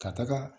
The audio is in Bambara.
Ka taga